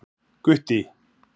Gutti